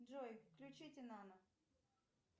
джой включите нано